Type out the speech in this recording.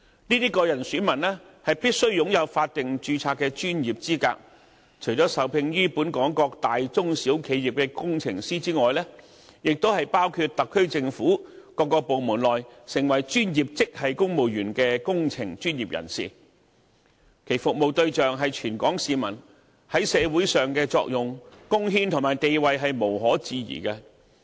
這些個人選民必須擁有法定註冊的專業資格，除了受聘於本港各大、中、小企業的工程師之外，還包括特區政府各部門內成為專業職系公務員的工程專業人士，其服務對象是全港市民，在社會上的作用、貢獻與地位無可置疑。